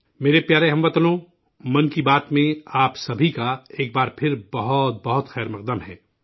میرے پیارے ہم وطنو، 'من کی بات' میں آپ سبھی کا ایک بار پھر بہت بہت خیر مقدم ہے